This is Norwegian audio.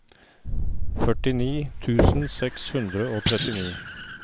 førtini tusen seks hundre og trettini